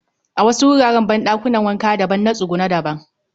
A wasu wuraren banɗakuna wanka daban na tsuguno daban